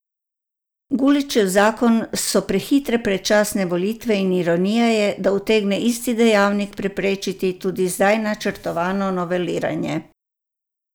Guličev zakon so prehitele predčasne volitve in ironija je, da utegne isti dejavnik preprečiti tudi zdaj načrtovano noveliranje.